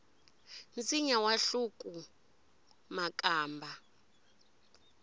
nsinya wu hluku makamba